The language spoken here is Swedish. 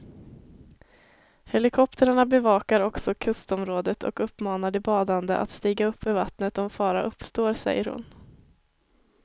Helikoptrarna bevakar också kustområdet och uppmanar de badande att stiga upp ur vattnet om fara uppstår, säger hon.